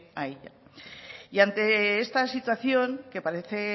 a ella y ante esta situación que parece